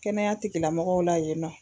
Kɛnɛya tigilamɔgɔw la yen nɔ